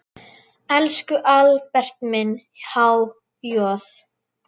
Elsku Albert minn, há joð.